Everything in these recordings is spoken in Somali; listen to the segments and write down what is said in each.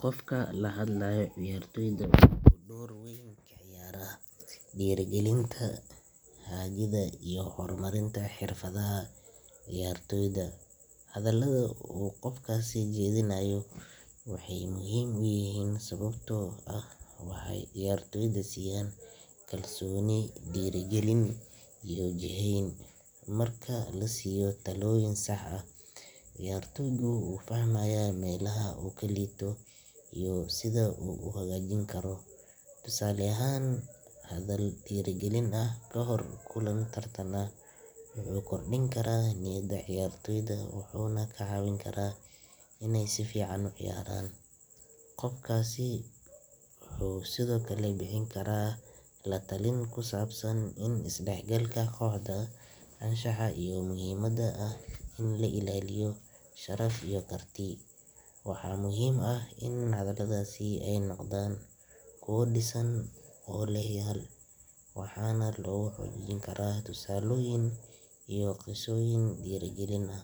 Qofka la hadlayo ciyartoyda wuxuu door weyn ka ciyaaraa dhiirrigelinta, hagidda iyo horumarinta xirfadaha ciyaartoyda. Hadallada uu qofkaasi jeedinayo waxay muhiim u yihiin sababtoo ah waxay ciyartoyda siiyaan kalsooni, dhiirigelin iyo jihayn. Marka la siiyo talooyin sax ah, ciyartoygu wuu fahmayaa meelaha uu ka liito iyo sida uu u hagaajin karo. Tusaale ahaan, hadal dhiirigelin ah kahor kulan tartan ah wuxuu kordhin karaa niyadda ciyaartoyda wuxuuna ka caawin karaa inay si fiican u ciyaaraan. Qofkaasi wuxuu sidoo kale bixin karaa la-talin ku saabsan isdhexgalka kooxda, anshaxa, iyo muhiimadda ah in la ilaaliyo sharaf iyo karti. Waxaa muhiim ah in hadalladaasi ay noqdaan kuwo dhisan oo leh yool, waxaana lagu xoojin karaa tusaalooyin iyo qisooyin dhiirrigelin leh.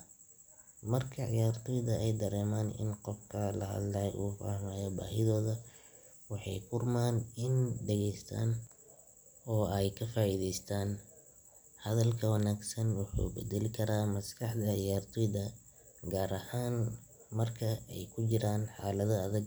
Marka ciyartoyda ay dareemaan in qofka la hadlayaa uu fahmay baahidooda, waxay u furmaan inay dhageystaan oo ay ka faa’iideystaan. Hadalka wanaagsan wuxuu beddeli karaa maskaxda ciyaartoyda, gaar ahaan marka ay ku jiraan xaalado adag.